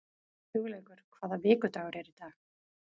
Hugleikur, hvaða vikudagur er í dag?